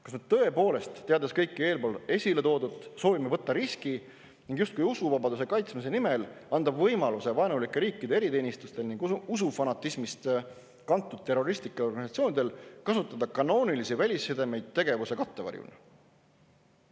Kas me tõepoolest, teades kõike eespool toodut, soovime võtta riski ning justkui usuvabaduse kaitsmise nimel anda vaenulike riikide eriteenistustele ning usufanatismist kantud terroristlikele organisatsioonidele võimaluse kasutada kanoonilisi välissidemeid oma tegevuse kattevarjuna?